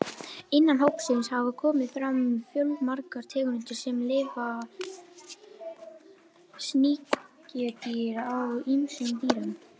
Innan hópsins hafa komið fram fjölmargar tegundir sem lifa sem sníkjudýr á ýmsum dýrum.